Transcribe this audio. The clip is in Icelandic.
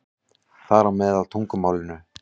Þar á meðal tungumálinu.